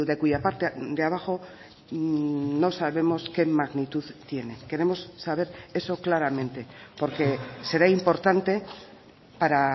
cuya parte de abajo no sabemos qué magnitud tiene queremos saber eso claramente porque será importante para